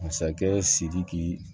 Masakɛ sidiki